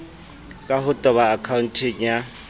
ka ho toba akhaonteng ya